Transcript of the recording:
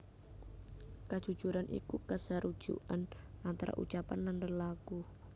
Kajujuran iku kasarujukan antara ucapan lan lelaku